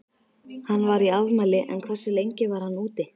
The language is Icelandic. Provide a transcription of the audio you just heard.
Hann var í afmæli en hversu lengi var hann úti?